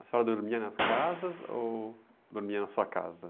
A senhora dormia nas casas ou dormia na sua casa?